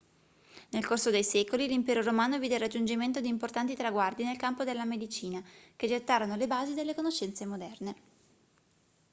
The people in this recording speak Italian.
nel corso dei secoli l'impero romano vide il raggiungimento di importanti traguardi nel campo della medicina che gettarono le basi delle conoscenze moderne